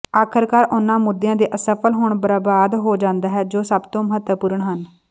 ਆਖਰਕਾਰ ਉਹਨਾਂ ਮੁੱਦਿਆਂ ਤੇ ਅਸਫਲ ਹੋਣਾ ਬਰਬਾਦ ਹੋ ਜਾਂਦਾ ਹੈ ਜੋ ਸਭ ਤੋਂ ਮਹੱਤਵਪੂਰਣ ਹਨ